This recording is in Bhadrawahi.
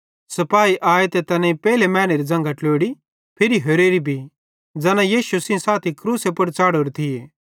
सिपाही आए तैनेईं पेइले मैनेरी ज़न्घां ट्लोड़ी फिरी होरेरी भी ज़ैना यीशु सेइं साथी क्रूसे पुड़ च़ाढ़ोरे थिये